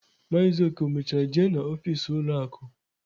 Maazi Oke mechara jee na ọfịs ụlọ akụ